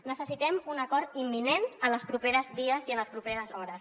necessitem un acord imminent en els propers dies i en les properes hores